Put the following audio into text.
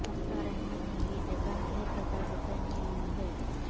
مختار احمد نے یہ جگہ ایک ہزار روپے میں لی ہے